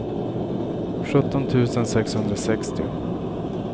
sjutton tusen sexhundrasextio